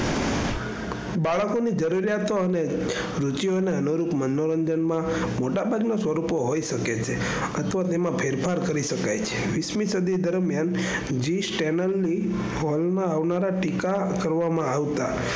બાળકો ની જરૂરિયાતો અને જીવન ને અનુરૂપ મનોરંજન માં મોટા ભાગ ના સ્વરૂપો હોઈ શકે છે અથવા તેમાં ફેરફાર કરી શકાય છે વીસ મી સદી તરફ main channel ની કોલોન માં ટીકા કરવામાં આવતા.